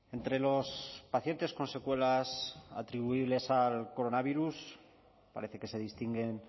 entre los pacientes con secuelas atribuibles al coronavirus parece que se distinguen